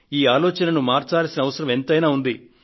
ఈ ఆలోచనను మార్చాల్సిన అవసరం ఎంతైనా ఉంది